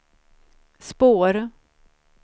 spår